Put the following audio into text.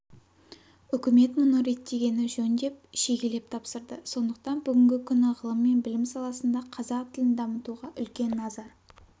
үкімет мұны реттегені жөн деп шегелеп тапсырды сондықтан бүгінгі күні ғылым және білім саласында қазақ тілін дамытуға үлкен назар